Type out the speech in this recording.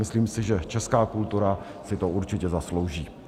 Myslím si, že česká kultura si to určitě zaslouží.